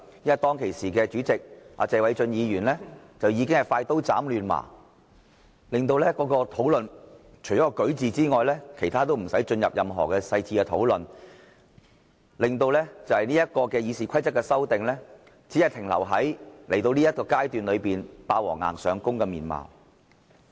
因為當時的主席，謝偉俊議員已經快刀斬亂麻，令討論除了關乎"擧"字的事宜，其他事項都沒有進入任何細緻討論，令《議事規則》的修訂只停留在，現在這個階段"霸王硬上弓"的情況。